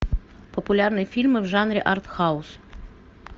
популярные фильмы в жанре арт хаус